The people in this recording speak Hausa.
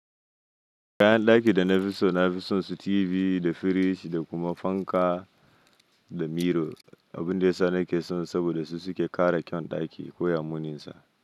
Kayan ɗaki da na fi so, na fi son su TV da firiji da kuma fanka da miro. Abin da yasa nake son su saboda su suke ƙara kyan ɗaki ko ya muninsa.